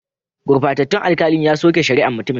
Gurbatattun alkalin ya soke shari'an mutumin.